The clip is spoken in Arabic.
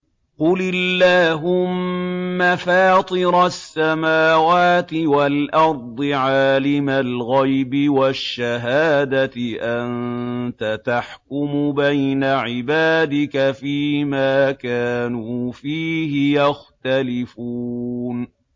قُلِ اللَّهُمَّ فَاطِرَ السَّمَاوَاتِ وَالْأَرْضِ عَالِمَ الْغَيْبِ وَالشَّهَادَةِ أَنتَ تَحْكُمُ بَيْنَ عِبَادِكَ فِي مَا كَانُوا فِيهِ يَخْتَلِفُونَ